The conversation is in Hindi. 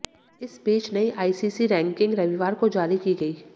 इस बीच नई आईसीसी रैंकिंग रविवार को जारी की गई